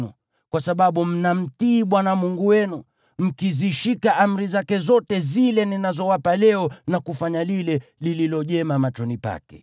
kwa sababu mnamtii Bwana Mungu wenu, mkizishika amri zake zote zile ninazowapa leo na kufanya lile lililo jema machoni pake.